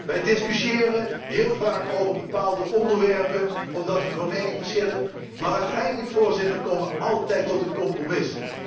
Wij discussiëren heel vaak over bepaalde onderwerpen, omdat wij van mening verschillen, maar uiteindelijk komen wij altijd tot een compromis.